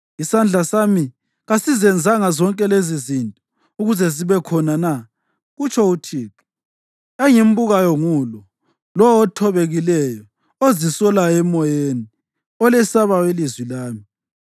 Isandla sami kasizenzanga zonke lezizinto ukuze zibe khona na?” kutsho uThixo. “Engimbukayo ngulo: lowo othobekileyo ozisolayo emoyeni, olesabayo ilizwi lami.